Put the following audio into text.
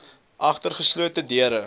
agter geslote deure